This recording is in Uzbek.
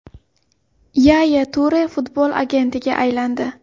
Yaya Ture futbol agentiga aylandi.